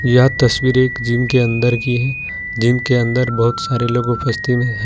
यह तस्वीर एक जिम के अंदर की है जिम के अंदर बहुत सारे लोग में है।